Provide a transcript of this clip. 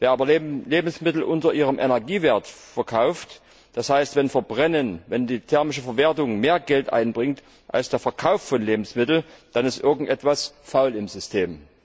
Wer aber Lebensmittel unter ihrem Energiewert verkauft, das heißt, wenn die thermische Verwertung mehr Geld einbringt als der Verkauf von Lebensmitteln, dann ist irgendetwas faul im System.